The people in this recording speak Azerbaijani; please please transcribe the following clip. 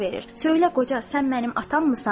Söylə qoca, sən mənim atamsan?